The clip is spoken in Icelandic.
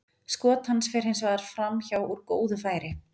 Skot hans fer hins vegar framhjá úr góðu færi.